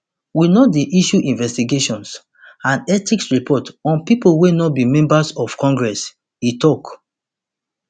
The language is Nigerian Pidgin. we no dey issue investigations and ethics report on pipo wey no be members of congress e tok